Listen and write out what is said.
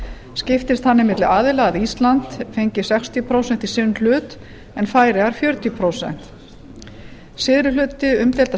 skiptist þannig milli aðila ísland fengi sextíu prósent í sinn hlut en færeyjar fjörutíu prósent syðri hluti umdeilda